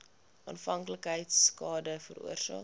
afhanklikheid skade veroorsaak